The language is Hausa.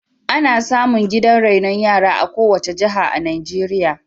Ana samu gidan rainon yara a kowace jiha a Najeirya.